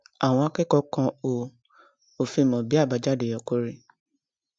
àwọn akẹkọọ kan ò ò fi mọ bí àbájáde yẹ kó rí